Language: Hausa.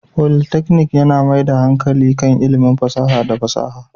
Politeknik yana mai da hankali kan ilimin fasaha da fasaha